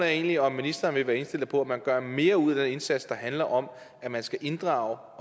er egentlig om ministeren vil være indstillet på at man gør mere ud af den indsats der handler om at man skal inddrage